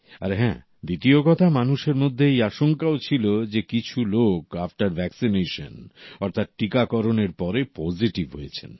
আর হ্যাঁ দ্বিতীয় কথা মানুষের মধ্যে এই আশঙ্কাও ছিল যে কিছু লোক আফটার ভ্যাকসিনেশন অর্থাৎ টিকাকরণের পরে পজিটিভ হয়েছেন